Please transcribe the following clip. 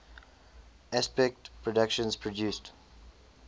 aspect productions produced